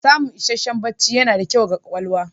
Samun isasshen bacci yana da kyau ga ƙwaƙwalwa.